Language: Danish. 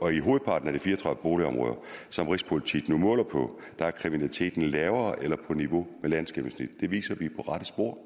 og i hovedparten af de fire og tredive boligområder som rigspolitiet nu måler på er kriminaliteten lavere eller på niveau med landsgennemsnittet det viser at vi rette spor